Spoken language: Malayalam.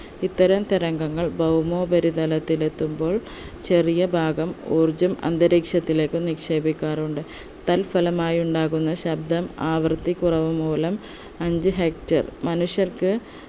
ഇത്തരം തരംഗങ്ങൾ ഭൗമോപരിതലത്തിൽ എത്തുമ്പോൾ ചെറിയ ഭാഗം ഊർജ്ജം അന്തരീക്ഷത്തിലേക്ക് നിക്ഷേപിക്കാറുണ്ട് തൽഫലമായി ഉണ്ടാകുന്ന ശബ്ദം ആവർത്തി കുറവ് മൂലം അഞ്ച്‌ hectare മനുഷ്യർക്ക്